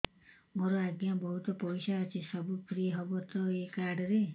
ମୋର ଆଜ୍ଞା ବହୁତ ପଇସା ଅଛି ସବୁ ଫ୍ରି ହବ ତ ଏ କାର୍ଡ ରେ